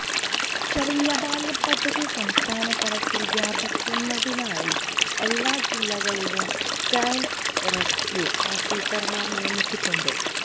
ശരണബാല്യം പദ്ധതി സംസ്ഥാന തലത്തില് വ്യാപിപ്പിക്കുന്നതിനായി എല്ലാ ജില്ലകളിലും ചൈല്ഡ് റെസ്ക്യു ഓഫിസര്മാരെ നിയമിച്ചിട്ടുണ്ട്